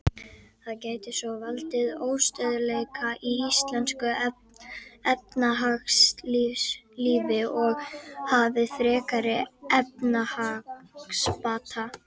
Það gæti svo valdið óstöðugleika í íslensku efnahagslífi og tafið frekari efnahagsbata.